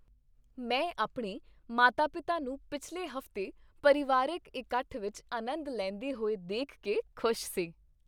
ਮੈਂ ਆਪਣੇ ਮਾਤਾ ਪਿਤਾ ਨੂੰ ਪਿਛਲੇ ਹਫ਼ਤੇ ਪਰਿਵਾਰਕ ਇਕੱਠ ਵਿੱਚ ਆਨੰਦ ਲੈਂਦੇ ਹੋਏ ਦੇਖ ਕੇ ਖ਼ੁਸ਼ ਸੀ